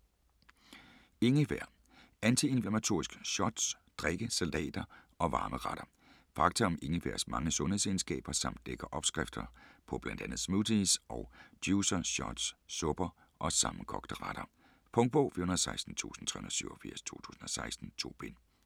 Ingefær: antiinflammatoriske shots, drikke, salater & varme retter Fakta om ingefærs mange sundhedsegenskaber samt lækre opskrifter på bl.a. smoothies og juicer, shots, supper og sammenkogte retter. Punktbog 416387 2016. 2 bind.